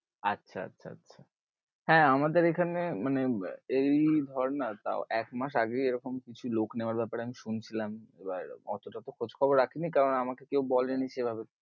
আচ্ছা আচ্ছা আচ্ছা হ্যাঁ আমাদের এখানে মানে এই ধর না তাও এক মাস আগেই এরকম কিছু লোক নেবার ব্যাপারে আমি শুনছিলাম, এবার অতটা তো খোজ খবর রাখেনি কারণ আমাকে কেউ বলেনি সেই ভাবে